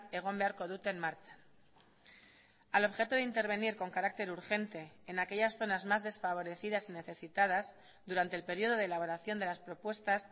egon beharko duten martxan al objeto de intervenir con carácter urgente en aquellas zonas más desfavorecidas y necesitadas durante el periodo de elaboración de las propuestas